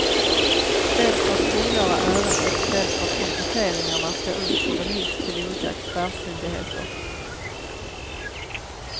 Dels för att kungöra ärendet, dels för att kompletteringarna ska ut på remiss till olika expertmyndigheter.